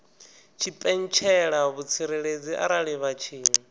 tshipentshela vhutsireledzi arali vha tshi